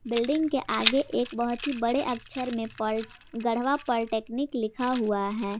Building के आगे एक बहुत ही बड़े अक्षर में पल गढ़वा पॉलीटेक्निक लिखा हुआ है।